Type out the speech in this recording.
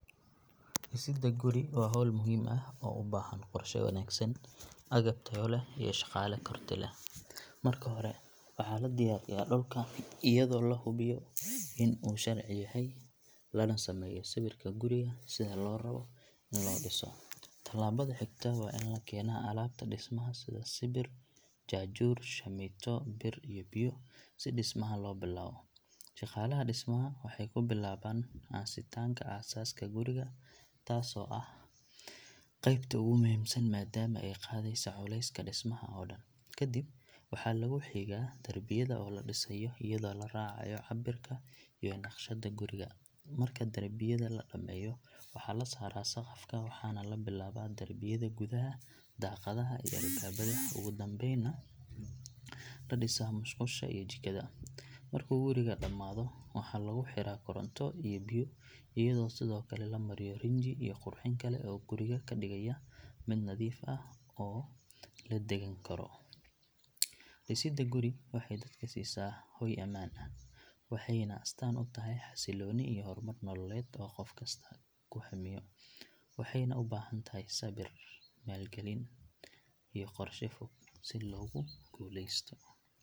Dhisidda guri waa hawl muhiim ah oo u baahan qorshe wanaagsan, agab tayo leh iyo shaqaale karti leh. Marka hore waxaa la diyaariyaa dhulka iyadoo la hubiyo in uu sharci yahay lana sameeyo sawirka guriga sida loo rabo in loo dhiso. Tallaabada xigta waa in la keenaa alaabta dhismaha sida sibir, jaajuur, shamiito, bir iyo biyo si dhismaha loo bilaabo. Shaqaalaha dhismaha waxay ku bilaabaan aasitaanka aasaaska guriga taasoo ah qaybta ugu muhiimsan maadaama ay qaadaysa culayska dhismaha oo dhan. Kadib waxaa lagu xigaa darbiyada oo la dhisayo iyadoo la raacayo cabbirka iyo naqshadda guriga. Marka darbiyada la dhammeeyo waxaa la saaraa saqafka waxaana la bilaabaa darbiyada gudaha, daaqadaha iyo albaabbada ugu dambaynna la dhisaa musqusha iyo jikada. Markuu gurigu dhammaado waxaa lagu xiraa koronto iyo biyo iyadoo sidoo kale la mariyo rinji iyo qurxin kale oo guriga ka dhigaya mid nadiif ah oo la deggan karo. Dhisidda guri waxay dadka siisaa hoy ammaan ah, waxayna astaan u tahay xasilooni iyo horumar nololeed oo qof kasta ku hamiyo. Waxayna u baahan tahay sabir, maalgelin iyo qorshe fog si loogu guuleysto.